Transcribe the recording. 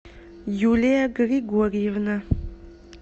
юлия григорьевна